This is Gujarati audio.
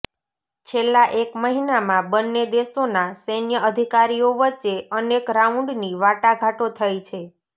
છેલ્લા એક મહિનામાં બંને દેશોના સૈન્ય અધિકારીઓ વચ્ચે અનેક રાઉન્ડની વાટાઘાટો થઈ છે